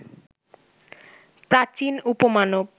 প্রাচীন উপমানব